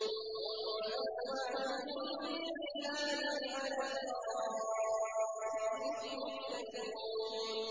هُمْ وَأَزْوَاجُهُمْ فِي ظِلَالٍ عَلَى الْأَرَائِكِ مُتَّكِئُونَ